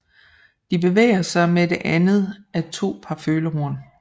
De bevæger sig med det andet af to par følehorn